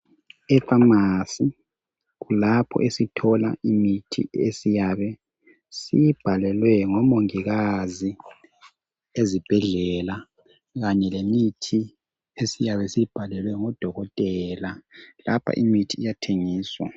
Efamasi kulapho esithola imithi esiyabe siyibhalelwe ngomongikazi ezibhedlela kanye lemithi esiyabe siyibhalelwe ngudokotela. Lapha imithi iyathengiswa.